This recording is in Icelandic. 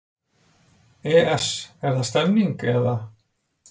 ES Er það stemningin eða?